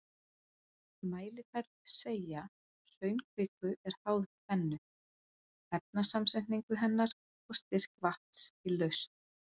Mælifell Seigja hraunkviku er háð tvennu, efnasamsetningu hennar og styrk vatns í lausn.